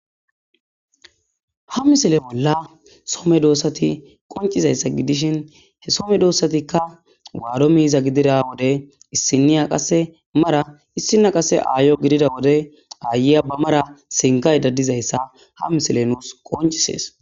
ha misile bolla some doossati qoncizayssa gidishin he some doossatikka waado miiza gidira wode issiniya qase mara issina qase aayo gidida wode aayeya ba mara sinkay dadizayssa ha misile nuus qoncisees